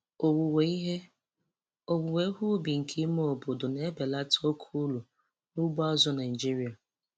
Owuwe ihe Owuwe ihe ubi nke ime obodo na-ebelata oke uru n'ugbo azụ̀ Naịjiria.